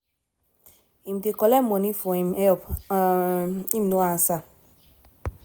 im dey collect money for im help um im no ansa.